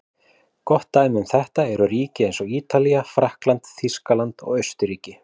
Gott dæmi um þetta eru ríki eins og Ítalía, Frakkland, Þýskaland og Austurríki.